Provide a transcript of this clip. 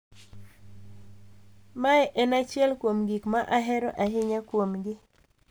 Mae en achiel kuom gik ma ahero ahinya kuomgi.